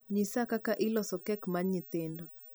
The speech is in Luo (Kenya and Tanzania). nyisa kaka iloso keke mar nyithindo